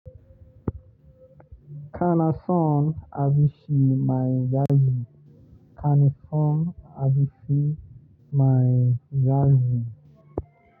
Ka na son abinshi mai yaji. Kani son abinshi mai yaji.